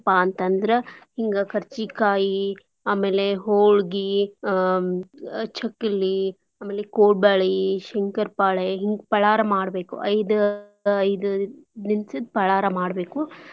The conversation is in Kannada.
ಏನ್ಪಾ ಅಂತಂದ್ರ ಹಿಂಗ ಕರ್ಜಿ ಕಾಯಿ ಆಮೇಲೆ ಹೋಳ್ಗಿ ಅಹ್ ಚಕ್ಲಿ ಆಮೇಲೆ ಕೋಡ್ಬಳಿ, ಶಂಕರ್ಪೊಳೆ ಹಿಂಗ ಪಳಾರ ಮಾಡ್ಬೇಕು. ಐದ್ ಐದ್ ದಿನ್ಸದ್ ಪಳಾರ ಮಾಡ್ಬೇಕು.